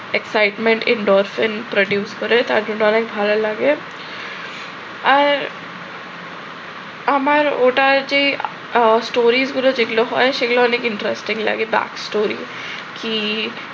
excitement endorser produce করে তার জন্য অনেক ভালো লাগে। আর আমার ওটার যে story গুলো যেগুলো হয় অনেক interesting লাগে। বা story কি